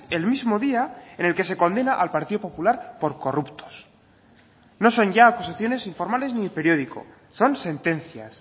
el mismo día en el que se condena al partido popular por corruptos no son ya oposiciones informales ni periódico son sentencias